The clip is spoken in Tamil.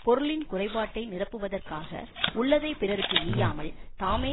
பொருளின் குறைபாட்டை நிரப்புவதற்க்காக உள்ளதை பிறருக்கு ஈயாமல் தாமே